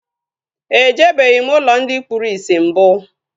E jebeghim ụlọ ndị kpụrụ isi mbụ